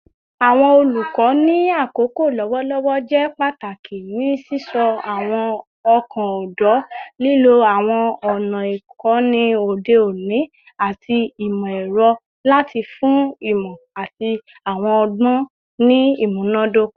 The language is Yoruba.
Awọn olukọ ni akoko lọwọlọwọ jẹ pataki ni sisọ awọn ọkan ọdọ, lilo awọn ọna ikọni ode oni ati imọ-ẹrọ lati fun imọ ati awọn ọgbọn ni imunadoko